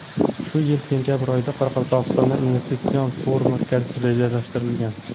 Shu yil sentabr oyida Qoraqalpog‘istonda investitsion forum o‘tkazish rejalashtirilgan.